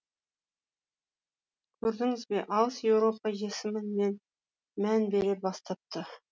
көрдіңізбе алыс еуропа есіміне мән бере бастапты